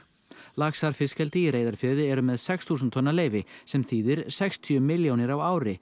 laxar fiskeldi í Reyðarfirði eru með sex þúsund tonna leyfi sem þýðir sextíu miljónir á ári